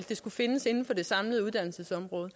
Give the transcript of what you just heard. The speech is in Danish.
det skulle findes inden for det samlede uddannelsesområde